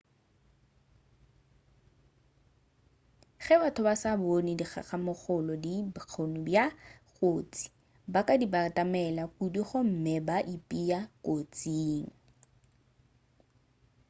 ge batho ba sa bone dikgamakgolo di na le bokgoni bja go ba kotsi ba ka di batamela kudu gomme ba ipea kotsing